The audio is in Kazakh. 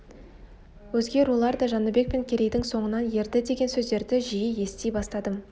өзге рулар да жәнібек пен керейдің соңынан ерді деген сөздерді жиі ести бастадым